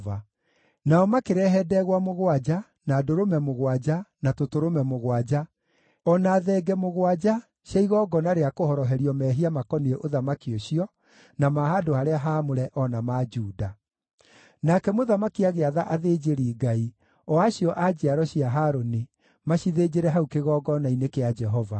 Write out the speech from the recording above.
Nao makĩrehe ndegwa mũgwanja, na ndũrũme mũgwanja, na tũtũrũme mũgwanja, o na thenge mũgwanja cia igongona rĩa kũhoroherio mehia makoniĩ ũthamaki ũcio, na ma handũ-harĩa-haamũre o na ma Juda. Nake mũthamaki agĩatha athĩnjĩri-Ngai, o acio a njiaro cia Harũni, macithĩnjĩre hau kĩgongona-inĩ kĩa Jehova.